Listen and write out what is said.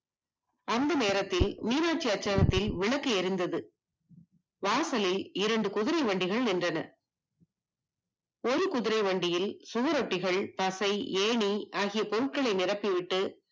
அந்த நேரத்தில் நிலவு வெளிச்சத்தில் விளக்கு எரிந்தது வாசலில் இரண்டு குதிரை வண்டிகள் நின்றன ஒரு குதிரை வண்டியில் பசை ஏணி ஆகியன நிரப்பி விட்டு